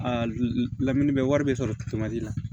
A lamini bɛ wari bɛ sɔrɔ la